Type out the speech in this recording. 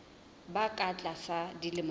ba ka tlasa dilemo tse